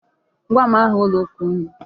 Gwa m aha ụlọ ụka unu.